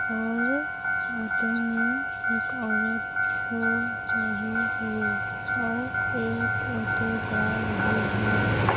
और ऑटो में एक औरत सो रही है और एक ऑटो जा रही है।